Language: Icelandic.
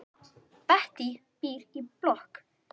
Bettý býr í blokk.